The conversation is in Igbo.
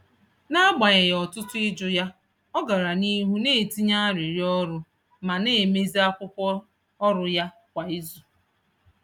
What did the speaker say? N’agbanyeghị ọtụtụ ịjụ ya, ọ gara n’ihu na-etinye arịrịọ ọrụ ma na-emezi akwụkwọ ọrụ ya kwa izu.